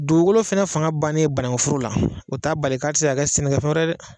Dugukolo fana fanga bannen banakun foro la, o t'a bari k'a tɛ kɛ sɛnɛkɛfɛn wɛrɛ ye dɛ!